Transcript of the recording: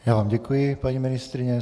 Já vám děkuji, paní ministryně.